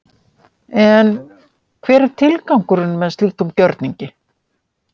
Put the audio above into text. En hver er tilgangurinn með slíkum gjörningi?